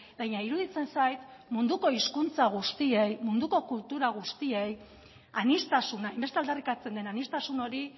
baina iruditzen zait munduko hizkuntza guztiei munduko kultura guztiei aniztasuna hainbeste aldarrikatzen den aniztasun hori